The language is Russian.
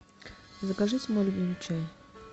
закажите мой любимый чай